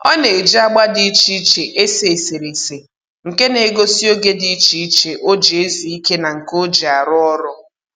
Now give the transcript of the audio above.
Ọ na-eji agba dị iche iche ese eserese nke na-egosi oge dị iche iche o ji ezu ike na nke o ji arụ ọrụ